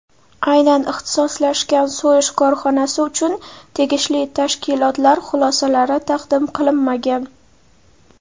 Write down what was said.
aynan ixtisoslashgan so‘yish korxonasi uchun tegishli tashkilotlar xulosalari taqdim qilinmagan.